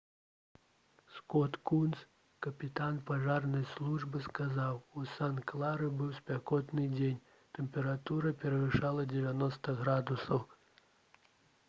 скот кунс капітан пажарнай службы сказаў: «у санта-клары быў спякотны дзень тэмпература перавышала 90 градусаў»